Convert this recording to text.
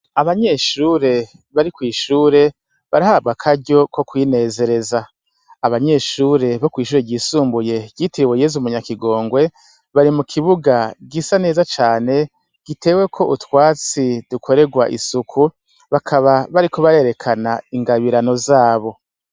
Abanyeshure bari kw'ishure barahawe akaryo ko kwinezereza, abanyeshure bo kw'ishure ryisumbuye ryitiriwe YEZU munyakigongwe, bari mu kibuga gisa neza cane, giteweko utwatsi dukorerwa isuku bakaba bariko barerekana ingabirano zabo.